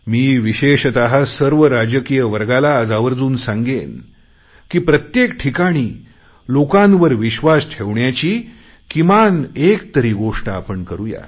मी विशेषत सर्व राजकीय वर्गाला आज आवर्जून सांगेन की प्रत्येक ठिकाणी लोकांवर विश्वास ठेवण्याची किमान एक तरी गोष्ट आपण करु या